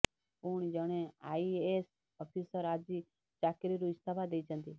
ପୁଣି ଜଣେ IAS officer ଆଜି ଚାକିରୀରୁ ଇସ୍ତଫା ଦେଇଛନ୍ତି